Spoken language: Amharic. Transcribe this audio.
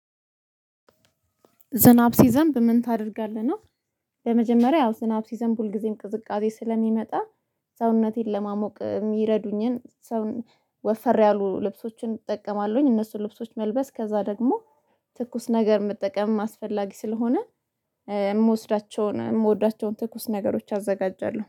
ዝናብ ሲዘንብ ምን ታደርጋለህ ነው? በመጀመሪያ ያው ዝናብ ሲዘንብ ሁልጊዜም ቅዝቃዜ ስለሚመጣ፣ ሰውነቴን ለማሞቅ የሚረዱኝን ወፈር ያሉ ልብሶችን እጠቀማለሁ፤ እነሱን ልብሶች መልበስ፣ ከዛ ደግሞ ትኩስ ነገር መጠቀም አስፈላጊ ስለሆነ የምወስዳቸውን፣ የምወዳቸውን ትኩስ ነገሮች አዘጋጃለሁ።